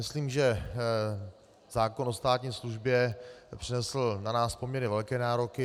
Myslím, že zákon o státní službě přinesl na nás poměrně velké nároky.